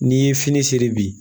N'i ye fini seri bi